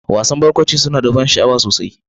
Wasa ɗin barkwanci suna da ban sha'awa sosai.